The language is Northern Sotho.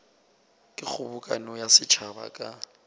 ke kgobokano ya setšhaba ka